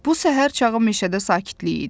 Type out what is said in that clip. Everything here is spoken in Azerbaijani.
Bu səhər çağı meşədə sakitlik idi.